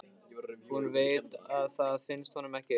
Hún veit að það finnst honum ekki.